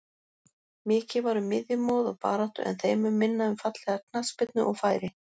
Mikið var um miðjumoð og baráttu en þeim mun minna um fallega knattspyrnu og færi.